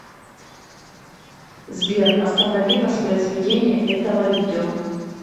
сбер останови воспроизведение этого видео